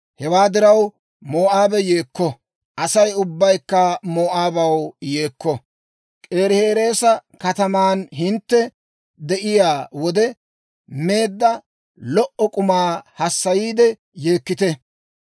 Hewaa diraw, Moo'aabe yeekko; Asay ubbaykka Moo'aabaw yeekko; K'iirihereesa kataman hintte de'iyaa wode meedda lo"o k'umaa hassayiide yeekkite.